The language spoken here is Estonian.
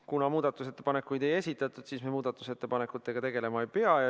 Kuna muudatusettepanekuid ei esitatud, siis me muudatusettepanekutega tegelema ei pea.